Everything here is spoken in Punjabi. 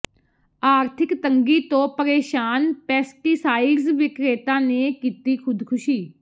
ਆਰਥਿਕ ਤੰਗੀ ਤੋਂ ਪ੍ਰੇਸ਼ਾਨ ਪੈਸਟੀਸਾਇਡਸ ਵਿਕਰੇਤਾ ਨੇ ਕੀਤੀ ਖ਼ੁਦਕੁਸ਼ੀ